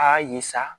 Aa ye sa